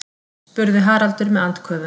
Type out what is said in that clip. spurði Haraldur með andköfum.